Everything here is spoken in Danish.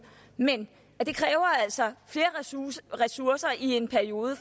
men det kræver altså flere ressourcer i en periode